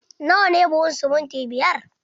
Na wa ne buhun simintin biyar?